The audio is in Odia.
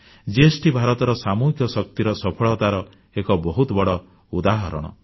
ଜିଏସଟି ଭାରତର ସାମୁହିକ ଶକ୍ତିର ସଫଳତାର ଏକ ବହୁତ ବଡ଼ ଉଦାହରଣ